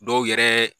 Dɔw yɛrɛ